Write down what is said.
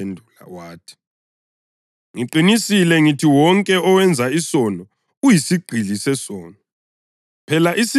UJesu waphendula wathi, “Ngiqinisile ngithi wonke owenza isono uyisigqili sesono.